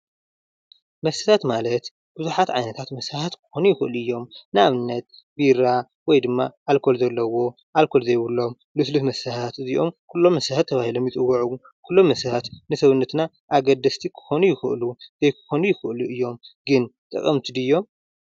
መስተታት ማለት ብዙሓት ዓይነታት መስተታት ክኾኑ ይክእሉ እዮም ።ንኣብነት ቢራ፣ ወይ ድማ ኣልኮል ዘለዎም፣ ኣልኮል ዘይብሎም መስተታት እዚም ኩሎም መስተታት ተባሂሎም ይፅውዑ። ኩሎም መስተታት ንሰውነትና ኣገደስቲ ክኾኑ ይክእሉ ፣ ዘይክኮኑ ይክእሉ እዮም። ግን ጠቀምቲ ድዮም?